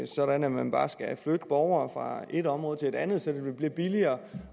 sådan at man bare skal flytte borgere fra et område til et andet så det vil blive billigere